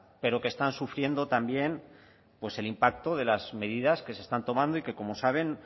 pero que están sufriendo también pues el impacto de las medidas que se están tomando y que como saben